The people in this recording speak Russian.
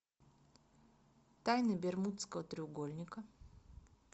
тайны бермудского треугольника